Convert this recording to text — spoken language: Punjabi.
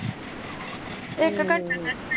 ਹਮ